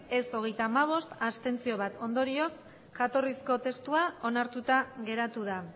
ez hogeita hamabost abstentzioak bat ondorioz jatorrizko testua onartuta geratu da